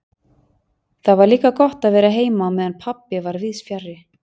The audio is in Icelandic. Það var líka gott að vera heima á meðan pabbi var víðs fjarri.